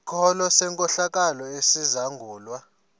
sikolo senkohlakalo esizangulwa